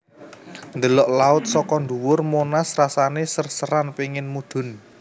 Ndelok laut soko ndhuwur Monas rasane ser seran pingin mudhun